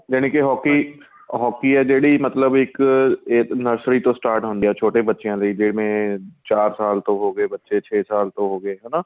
ਜਾਨੀ ਕੀ hockey hockey ਏ ਜਿਹੜੀ ਮਤਲਬ ਇੱਕ ਇਹ nursery ਤੋਂ start ਹੁੰਦੀ ਏ ਛੋਟੇ ਬੱਚਿਆ ਲੈ ਜਿਵੇਂ ਚਾਰ ਸਾਲ ਤੋਂ ਹੋ ਗਏ ਬੱਚੇ ਛੇ ਸਾਲ ਤੋਂ ਹੋ ਗਏ ਹਨਾ